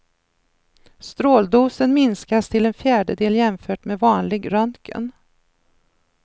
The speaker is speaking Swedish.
Stråldosen minskas till en fjärdedel jämfört med vanlig röntgen.